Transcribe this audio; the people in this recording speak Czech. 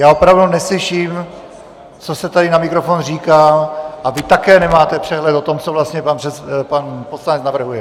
Já opravdu neslyším, co se tady na mikrofon říká, a vy také nemáte přehled o tom, co vlastně pan poslanec navrhuje.